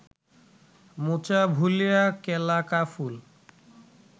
মোচা ভুলিয়া কেলা কা ফুল